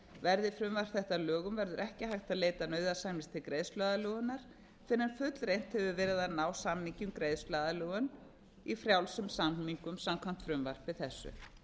verði frumvarp þetta að lögum verður ekki hægt að leita nauðasamninga til greiðsluaðlögunar fyrr en fullreynt hefur verið að ná samningi um greiðsluaðlögun í frjálsum samningum samkvæmt frumvarpi þessu